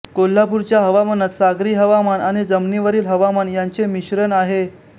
कोल्हापूरच्या हवामानात सागरी हवामान आणि जमिनीवरील हवामान यांचे मिश्रण आहे